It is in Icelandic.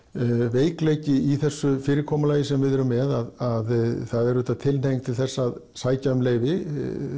veikleiki í þessu fyrirkomulagi sem við erum með að það er auðvitað tilhneiging til að sækja um leyfi